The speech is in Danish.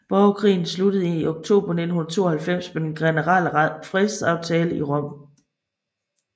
Borgerkrigen sluttede i oktober 1992 med den generelle fredsaftale i Rom